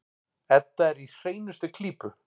Edda er í hreinustu klípu.